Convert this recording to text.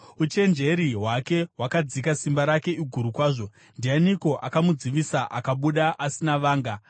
Uchenjeri hwake hwakadzika, simba rake iguru kwazvo. Ndianiko akamudzivisa akabuda asina vanga?